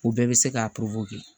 U bɛɛ bɛ se ka kɛ